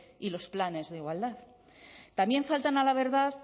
y los planes de igualdad también faltan a la verdad